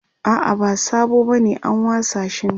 a'a ba sabo bane an wasa shi ne